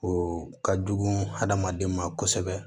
O ka jugu hadamaden ma kosɛbɛ